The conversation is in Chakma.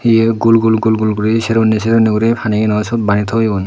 iye gul gul gul gul guri sero hunay sero hunay guri panigano syot bani toyon.